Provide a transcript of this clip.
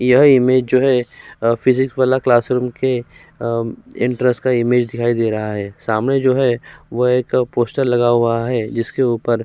यह इमेज जो है अ फिजिक्स वाला क्लासरूम के अम्म इंट्रेस का इमेज दिखाई दे रहा है। सामने जो है वह एक पोस्टर लगा हुआ है जिसके ऊपर --